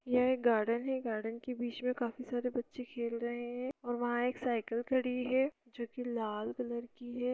यह एक गार्डन है गार्डन के बीच में काफी सारे बच्चे खेल रहे हैंऔर वहाँ एक साइकिल खड़ी हुई है जो की लाल कलर की है।